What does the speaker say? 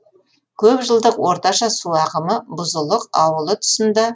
көп жылдық орташа су ағымы бұзылық ауылы тұсында